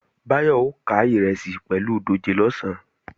Báyọ̀ ó ká ìrẹsì pẹ̀lú dòjé lọ̀sán